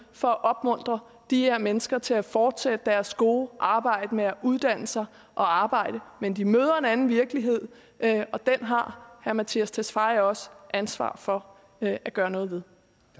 for at opmuntre de her mennesker til at fortsætte deres gode arbejde med at uddanne sig og arbejde men de møder en anden virkelighed og den har herre mattias tesfaye også ansvar for at gøre noget ved